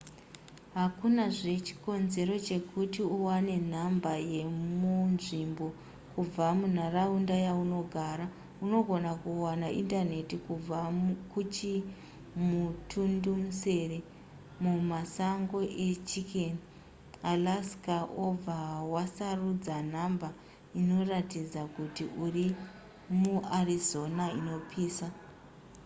hakunazve chikonzero chekuti uwane nhamba yemunzvimbo kubva munharaunda yaunogara unogona kuwana indaneti kubva kuchimutundumusere mumasango echicken alaska obva wasarudza nhamba inoratidza kuti uri muarizona inopisa